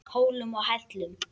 Hólum og hellum.